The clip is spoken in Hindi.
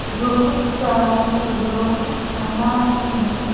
बहुत सारे लोग जमा हैं।